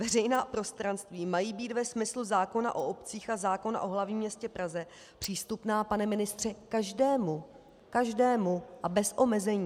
Veřejná prostranství mají být ve smyslu zákona o obcích a zákona o hlavním městě Praze přístupná, pane ministře, každému - každému! - a bez omezení.